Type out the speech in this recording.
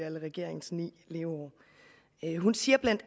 alle regeringens ni leveår hun siger bla